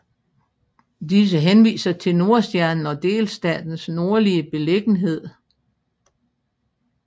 Disse henviser til Nordstjernen og delstatens nordlige beliggenhed